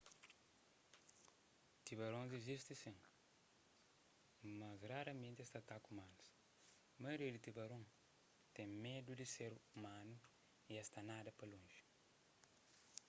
tubarons izisti sin mas raramenti es ta ataka umanus maioria di tubarons ten medu di ser umanu y es ta nada pa lonji